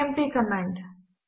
CMP command